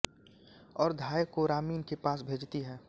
और धाय को रामिन के पास भेजती है